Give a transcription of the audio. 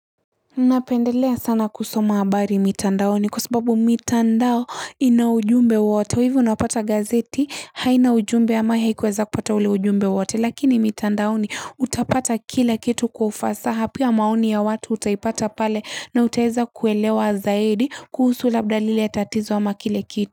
Napendelea sana kusoma habari mitandaoni kwa sababu mitandao ina ujumbe wote kwa hivyo unapata gazeti haina ujumbe ama haikuweza kupata ule ujumbe wote lakini mitandaoni utapata kila kitu kwa ufasaha pia maoni ya watu utaipata pale na utaweza kuelewa zaidi kuhusu labda lile tatizo ama kile kitu.